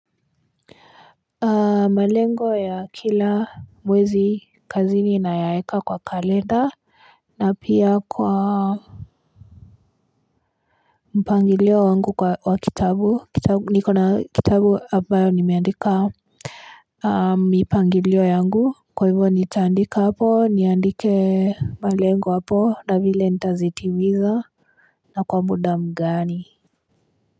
Malengo ya kila mwezi kazini ninayaeka kwa kalenda na pia kwa mpangilio wangu wa kitabu, niko na kitabu ambayo nimeandika mipangilio yangu kwa hivo nitaandika hapo niandike malengo hapo na vile nitazitimiza na kwa muda mgani.